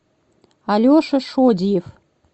алеша шодиев